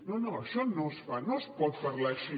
no no això no es fa no es pot parlar així